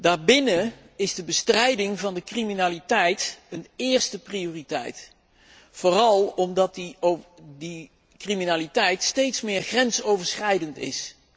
Daarbinnen is de bestrijding van de criminaliteit een eerste prioriteit, vooral omdat die criminaliteit steeds meer grensoverschrijdend is.